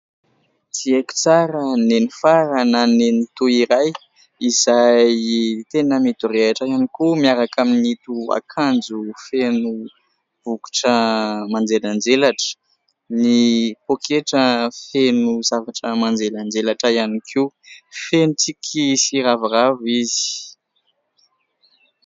Tsy aiko tsara nenifara na nenitoa iray izay tena midorehitra ihany koa miaraka amin'ito akanjo feno bokotra manjelanjelatra. Ny pôketra feno zavatra manjelanjelatra ihany koa. Feno tsiky sy ravoravo izy.